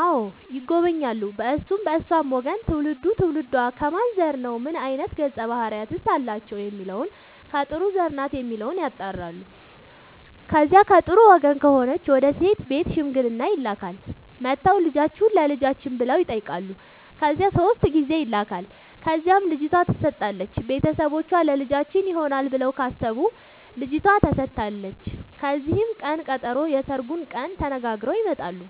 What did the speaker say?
አዎ ይጎበኛሉ በእርሱም በእርሷም ወገን ትውልዱ ትውልዷ ከማን ዘር ነው ምን አይነት ገፀ ባህርያት አላቸው የሚለውን ከጥሩ ዘር ናት የሚለውን ያጣራሉ። ከዚያ ከጥሩ ወገን ከሆነች ወደ ሴት ቤት ሽምግልና ይላካል። መጥተው ልጃችሁን ለልጃችን ብለው ይጠያቃሉ ከዚያ ሶስት ጊዜ ይላካል ከዚያም ልጅቷ ትሰጣለች ቤተሰቦቿ ለልጃችን ይሆናል ብለው ካሰቡ ልጇቷ ተሰጣለች ከዚያም ቅን ቀጠሮ የስርጉን ቀን ተነጋግረው ይመጣሉ